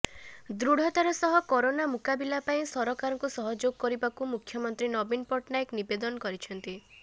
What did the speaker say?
ଦୃଢ଼ାତାର ସହ କରୋନା ମୁକାବିଲା ପାଇଁ ସରକାରଙ୍କୁ ସହଯୋଗ କରିବାକୁ ମୁଖ୍ୟମନ୍ତ୍ରୀ ନବୀନ ପଟ୍ଟନାୟକ ନିବେଦନ କରିଛନ୍ତି